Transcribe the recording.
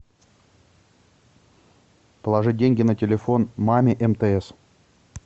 положить деньги на телефон маме мтс